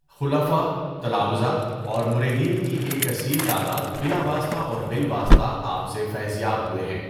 خلفاء، تلامذہ اور مریدین کی ایک کثیر تعداد بلا واسطہ اور بالواسطہ آپ سے فیض یاب ہوئے ہیں۔